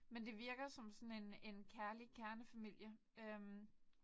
Men det virker som sådan en en kærlig kernefamilie øh